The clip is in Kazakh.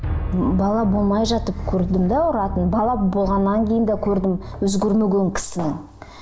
бала болмай жатып көрдім де ұратынын бала болғаннан кейін де көрдім өзгермеген кісінің